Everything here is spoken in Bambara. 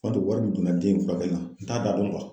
U b'a to wari min donna den in furakɛli la n t'a da dɔn